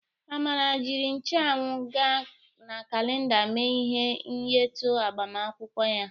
Amara jiri ncheanwụ na kalenda mee ihe nyetu agbamakwụkwọ ya.